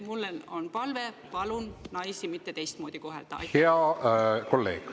Mul on palve: palun naisi mitte teistmoodi kohelda!